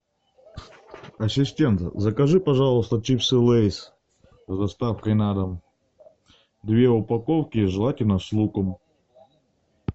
ассистент закажи пожалуйста чипсы лейс с доставкой на дом две упаковки желательно с луком